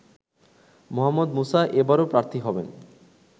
মোহাম্মদ মুসা এবারও প্রার্থী হবেন